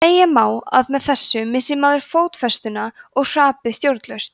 segja má að með þessu missi maður fótfestuna og hrapi stjórnlaust